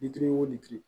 Bitiri wo bi duuru